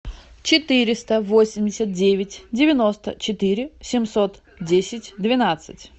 четыреста восемьдесят девять девяносто четыре семьсот десять двенадцать